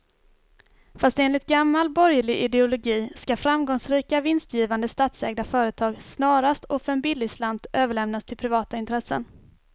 Fast enligt gammal borgerlig ideologi ska framgångsrika, vinstgivande statsägda företag snarast och för en billig slant överlämnas till privata intressen.